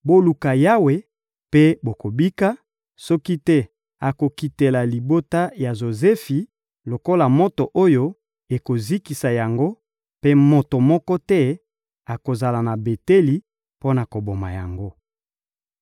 Boluka Yawe mpe bokobika, soki te akokitela libota ya Jozefi lokola moto oyo ekozikisa yango, mpe moto moko te akozala na Beteli mpo na koboma yango.